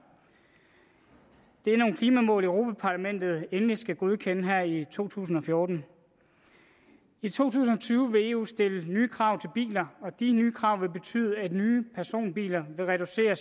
det er nogle klimamål europa parlamentet endeligt skal godkende her i to tusind og fjorten i to tusind og tyve vil eu stille nye krav til biler og de nye krav vil betyde at nye personbiler vil reducere